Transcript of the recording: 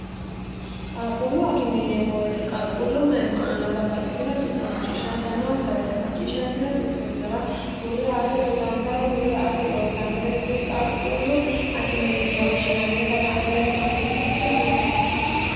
qaqquullu akime yineemmo woyite qaquullu mayimma aanna babbaxitino xisso macciishshantanoonsa woyite macciishshantino xissonsara hurre ate dodantano woy hurre aate loossannore kuri qalquullu akime yine woshshinannita la'ne woy huwante buunxeemmo yaate.